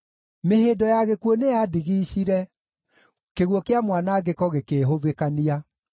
Mĩhĩndo ya gĩkuũ nĩyandigiicire; kĩguũ kĩa mwanangĩko gĩkĩĩhubĩkania.